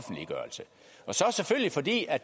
det er